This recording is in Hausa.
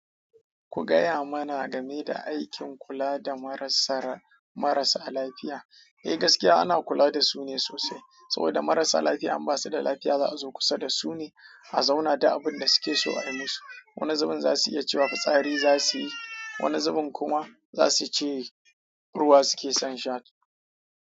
Ku gaya mana game da aikin kula da marasa lafiya. Eh gaskiya ana kula da su ne sosai. Saboda marasa lafiya, in basu da lafiya za a zo kusa da su ne a zauna duk abun da suke so a yi musu. Wani zubin za su iya cewa fitsari za su yi, wani zubin kuma za su ce ruwa suke son sha.